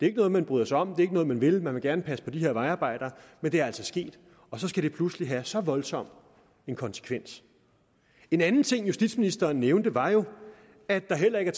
ikke noget man bryder sig om det er ikke noget man vil man vil gerne passe på de her vejarbejdere men det er altså sket og så skal det pludselig have så voldsom en konsekvens en anden ting justitsministeren nævnte var at der heller ikke